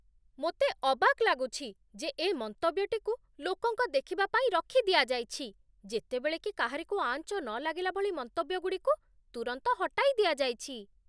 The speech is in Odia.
ମୋତେ ଅବାକ୍ ଲାଗୁଛି, ଯେ ଏ ମନ୍ତବ୍ୟଟିକୁ ଲୋକଙ୍କ ଦେଖିବା ପାଇଁ ରଖିଦିଆଯାଇଛି, ଯେତେବେଳେ କି କାହାରିକୁ ଆଞ୍ଚ ନ ଲାଗିଲା ଭଳି ମନ୍ତବ୍ୟଗୁଡ଼ିକୁ ତୁରନ୍ତ ହଟାଇ ଦିଆଯାଇଛି!